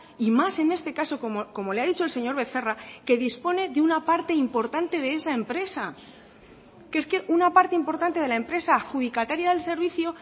y más en este caso como le ha dicho el señor becerra que dispone de una parte importante de esa empresa que es que una parte importante de la empresa adjudicataria del servicio